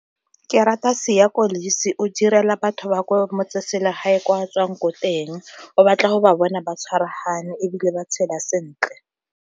Ke rata Siya Kolisi, o direla batho ba ko motseselegae ko a tswang ko teng, o batla go ba bona ba tshwaragane ebile ba tshela sentle.